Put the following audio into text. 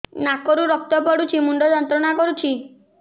ନାକ ରୁ ରକ୍ତ ପଡ଼ୁଛି ମୁଣ୍ଡ ଯନ୍ତ୍ରଣା କରୁଛି